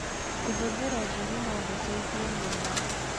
kũhũthĩra ũtheri no gũteithie mũno.